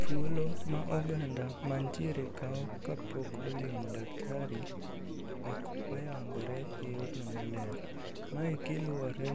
Thuolo ma oganda kawo kapok olimo daktari ok oyangore eyorno maler. Mae kaluwore